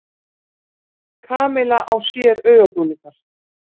Kamilla á sér augabrúnirnar.